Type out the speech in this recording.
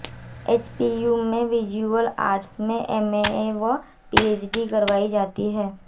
HPU में visual arts में MA व पीएचडी करवाई जाती है